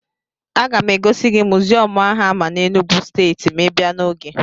A ga m egosi gị mụziọmụ áhù a àmá n'Enugwu stééti, ma ibiá n'ogè